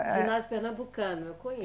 Ginásio Pernambucano, eu conhe